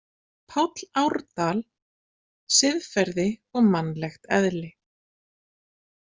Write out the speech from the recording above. Páll Árdal, Siðferði og mannlegt eðli.